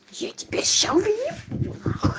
я тебя сейчас убью